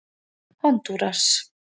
Hondúras